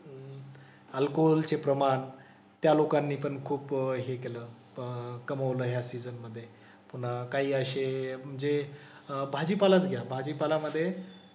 Alcohol चे प्रमाण त्या लोकांनी पण खूप हे केलं अह कमवलं या सिजन मधे. पुन्हा काही असे जे भाजीपालाच घ्या. भाजीपालामधे,